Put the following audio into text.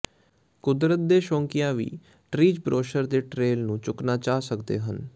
ਕੁਦਰਤ ਦੇ ਸ਼ੌਕੀਆਂ ਵੀ ਟਰੀਜ਼ ਬਰੋਸ਼ਰ ਦੇ ਟ੍ਰੇਲ ਨੂੰ ਚੁੱਕਣਾ ਚਾਹ ਸਕਦੇ ਹਨ